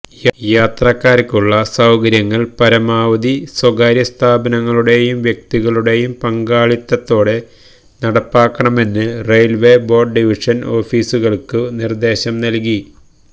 യാത്രക്കാര്ക്കുള്ള സൌകര്യങ്ങള് പരമാവധി സ്വകാര്യസ്ഥാപനങ്ങളുടെയും വ്യക്തികളുടെയും പങ്കാളിത്തത്തോടെ നടപ്പാക്കണമെന്ന് റയില്വേ ബോര്ഡ് ഡിവിഷന് ഓഫീസുകള്ക്കു നിര്ദേശം നല്കി